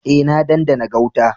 Eh, na dandana gauta.